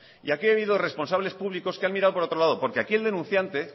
y aquí ha habido responsables públicos que ha mirado para otro lado porque aquí el denunciante